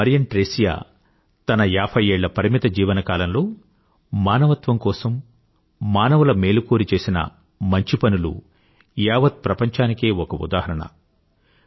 sister Mariam Thresia తన ఏభై ఏళ్ల పరిమిత జీవనకాలంలో మానవత్వం కోసం మానవుల మేలు కోరి చేసిన మంచి పనులు యావత్ ప్రపంచానికే ఒక ఉదాహరణ